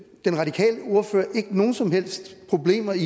den radikale ordfører ikke nogen som helst problemer i